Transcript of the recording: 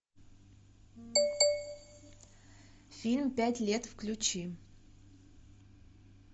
фильм пять лет включи